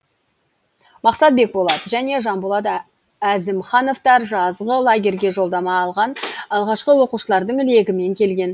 мақсат бекболат және жанболат әзімхановтар жазғы лагерьге жолдама алған алғашқы оқушылардың легімен келген